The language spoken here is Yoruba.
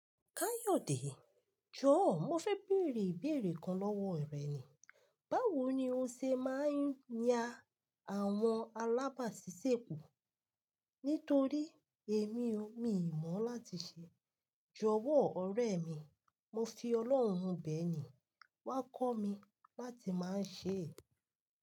Kayode, jọ̀ọ́, mo fẹ́ bèèrè ìbéèrè kan lọ́wọ́ rẹ ni. Báwo ni o ṣe máa ń ya àwọn alábàásisẹ́po? Nítorí èmi o, mi ò mọ̀ láti ṣe. Jọ̀wọ́ ọ̀rẹ́ mi, mo fi Ọlọ́run bẹ̀ẹ̀ ni, wá kọ́ mi láti máa ń ṣe è.